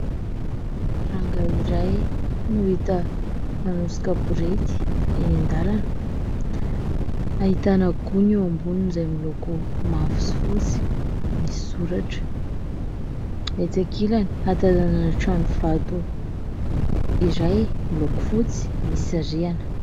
Rangaha iray no hita manosika borety eny an-dalana, ahitana gony eo amboniny izay miloko mavo sy fotsy, misy soratra ; etsy ankilany hatazanana trano vato iray miloko fotsy misy rihana.